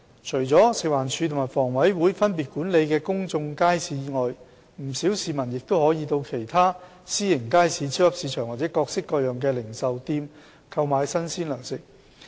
除了食物環境衞生署和房委會分別管理的公眾街市外，不少市民亦可以到其他私營街市、超級市場或各式各樣的零售店購買新鮮糧食。